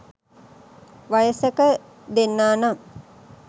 වයසක දෙන්නා නම්